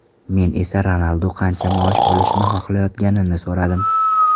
Men esa Ronaldu qancha maosh olishni xohlayotganini so‘radim.